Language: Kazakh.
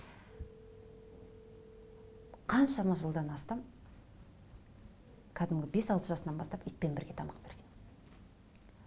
қаншама жылдан астам кәдімгі бес алты жасынан бастап итпен бірге тамақ берген